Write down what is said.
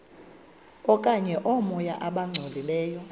okanye oomoya abangcolileyo